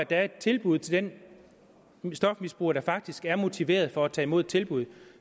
være et tilbud til den stofmisbruger som faktisk er motiveret for at tage imod et tilbud